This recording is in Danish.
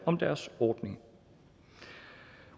om deres ordning